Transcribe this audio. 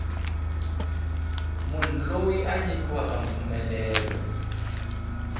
munhu loyi a nyikiweke mpfumelelo